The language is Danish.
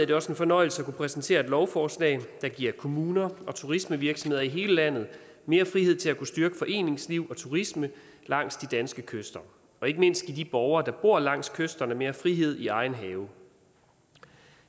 det også en fornøjelse at kunne præsentere et lovforslag der giver kommuner og turismevirksomheder i hele landet mere frihed til at kunne styrke foreningsliv og turisme langs de danske kyster og ikke mindst giver de borgere der bor langs kysterne mere frihed i egen have